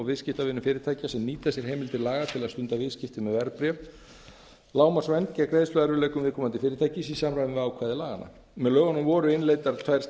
viðskiptavinum fyrirtækja sem nýta sér heimildir laga til að stunda viðskipti með verðbréf lágmarksvernd gegn greiðsluerfiðleikum viðkomandi fyrirtækis í samræmi við ákvæði laganna með lögunum voru innleiddar tvær